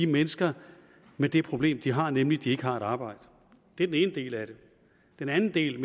mennesker med det problem de har nemlig at de ikke har et arbejde det er den ene del af det den anden del